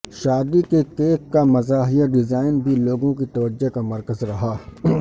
شادی کے کیک کا مزاحیہ ڈیزائن بھی لوگوں کی توجہ کا مرکز رہا